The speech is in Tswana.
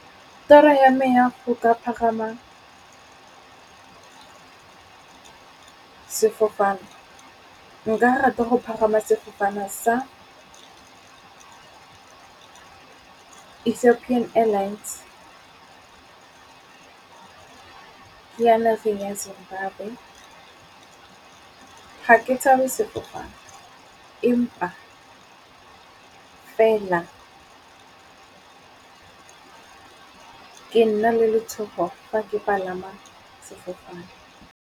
Toro ya me ya go ka pagama sefofane nka rata go pagama sefofane sa Ethopian Airlines. Ke ya nageng ya Zimbabwe, ga ke tshabe sefofane empa fela ke nna le letshogo fa ke palama sefofane.